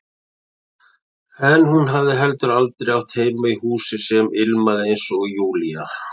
En hún hafði heldur aldrei átt heima í húsi sem ilmaði, eins og Júlía.